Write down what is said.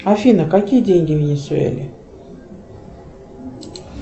афина какие деньги в венесуэле